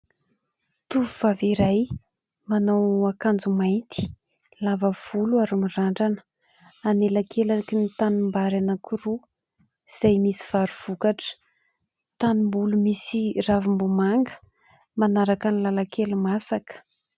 Tovovavy iray manao akanjo mainty, lava volo ary mirandrana, anelakelaky ny tanimbary anankiroa izay misy vary vokatra, tanimboly misy ravim-bomanga; manaraka ny lalan-kely masaka.